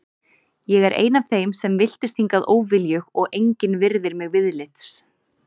Ég er ein af þeim sem villtist hingað óviljug og engin virðir mig viðlits.